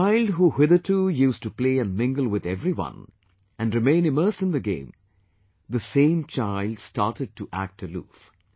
The child who hitherto used to play and mingle with everyone, and remain immersed in the game; the same child started to act aloof